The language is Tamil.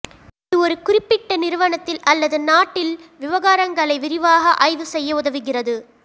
இது ஒரு குறிப்பிட்ட நிறுவனத்தில் அல்லது நாட்டில் விவகாரங்களை விரிவாக ஆய்வு செய்ய உதவுகிறது